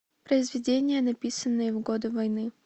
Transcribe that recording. произведения написанные в годы войны